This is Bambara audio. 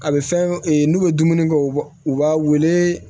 A bɛ fɛn e n'u bɛ dumuni kɛ u b'a u b'a wele